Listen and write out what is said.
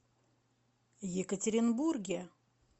екатеринбурге